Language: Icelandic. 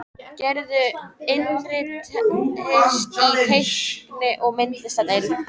Gerður innritaðist í teikni- og myndlistadeild.